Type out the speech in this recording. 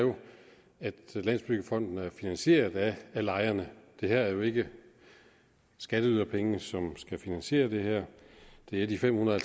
at landsbyggefonden er finansieret af lejerne det er jo ikke skatteyderpenge som skal finansiere det her det er de femhundrede